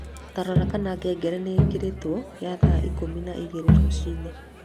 Ta rora kana ngengere ningikiritwo kia thaa ikumi na igiri rũcinĩ